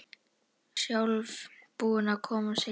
Hún er sjálf búin að koma sér í þetta.